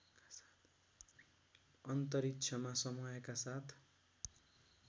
अन्तरिक्षमा समयका साथ